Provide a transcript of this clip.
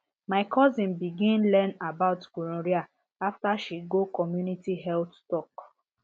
my cousin begin learn about gonorrhea after she go community health talk